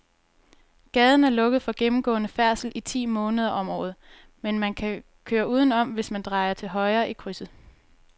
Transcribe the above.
Gaden er lukket for gennemgående færdsel ti måneder om året, men man kan køre udenom, hvis man drejer til højre i krydset.